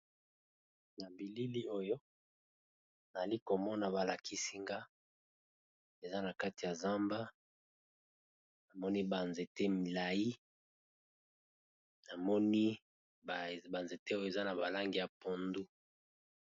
Na Bilili , oyo nazali komona balakisi nga! eza na kati ya zamba namoni, ba nzete milayi , namoni ba nzete, oyo eza na balangi ya pondu.